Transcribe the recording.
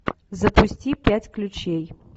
запусти пять ключей